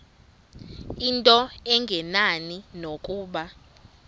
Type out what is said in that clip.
into engenani nokuba